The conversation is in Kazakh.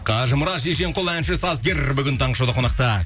қажымұрат шешенқұл әнші сазгер бүгін таңғы шоуда қонақта